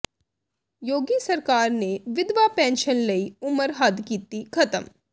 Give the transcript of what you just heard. ਯੋਗੀ ਸਰਕਾਰ ਨੇ ਵਿਧਵਾ ਪੈਨਸ਼ਨ ਲਈ ਉਮਰ ਹੱਦ ਕੀਤੀ ਖਤਮ